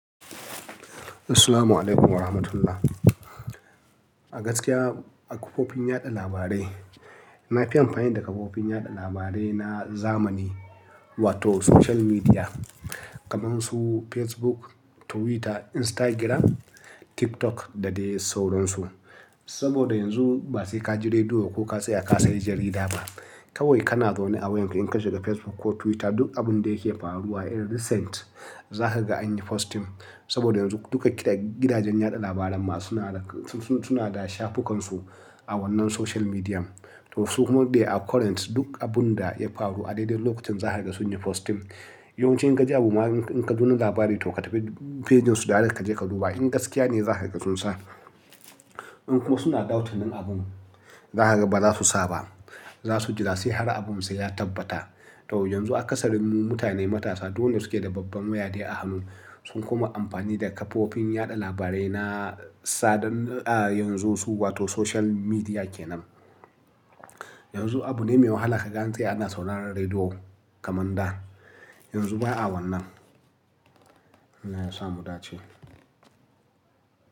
Assalamualaikum warahmatullahi. A gaskiya a kafofin yaɗa labarai, na fi amfani da kafofin yaɗa labarai na zamani wato social media kamar su Facebook, Twitter, Instagram, TikTok da dai sauransu. Saboda yanzu ba sai ka ji rediyo ko ka tsaya ka sayi jarida ba. Kawai kana zaune a wayarka in ka shiga Facebook ko Twitter duk abun da yake faruwa in recent za ka ga an yi posting. Saboda duka gidajen yaɗa labaran ma suna da shafukansu a wannan social medium. To su kuma dai a current duk abun da ya faru a daidai lokacin za ka ga sun yi posting. Yawan ci in ka ji abu ma in ka duna labari toh ka tafi fejinsu da dare ka je ka duba in gaskiya ne za kaga sun sa. In kuma suna ɗautin in abun za ka ga ba za su sa ba. Za su jira sai har abun sai ya tabbata. Toh yanzu a ƙasar mu mutane matasa dole suke da babban waya dai a hannu. Sun kuma yi amfani da kafofin yaɗa labarai na sadarwar yanzu su wato social media ke nan. Yanzu abu ne mai wahala ka gan antsaya ana sauraron rediyo kamar dah. Yanzu ba a wannan. Allah ya sa mu dace.